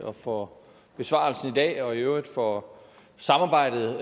og for besvarelsen i dag og i øvrigt for samarbejdet